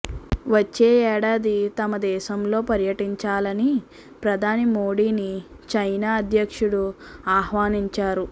వచ్చే ఏడాది తమ దేశంలో పర్యటించాలని ప్రధాని మోడీని చైనా అధ్యక్షుడు ఆహ్వానించారు